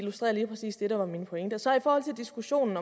lige præcis illustrerer det der var min pointe så i forhold til diskussionen